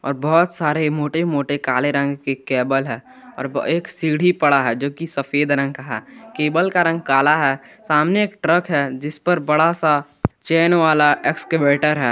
और बहोत सारे मोटे मोटे काले रंग के केबल है और एक सीढ़ी पड़ा है जो की सफेद रंग का है केबल का रंग काला है सामने एक ट्रक है जिस पर बड़ा सा चैन वाला एक्सकैवेटर है।